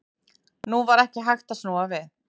Nú var ekki hægt að snúa við.